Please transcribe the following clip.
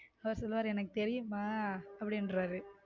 அவர் சொல்லுவார் எனக்கு தெரியுமா அப்படியும் பாரு